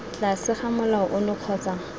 tlase ga molao ono kgotsa